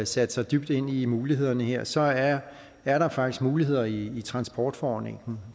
sat sig dybt ind i mulighederne her så er er der faktisk muligheder i transportforordningen